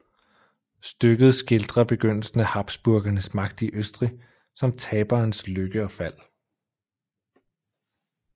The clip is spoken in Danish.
Stykket skildrer begyndelsen af Habsburgernes magt i Østrig samt taberens lykke og fald